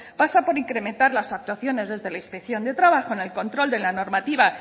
pasa por incrementar las actuaciones desde la inspección de trabajo en el control de la normativa